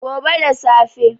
Gobe da safe